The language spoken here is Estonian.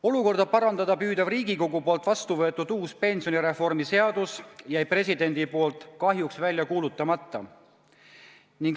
Olukorda parandada püüdva uue pensionireformi seaduse, mis sai Riigikogus vastu võetud, jättis president kahjuks välja kuulutamata.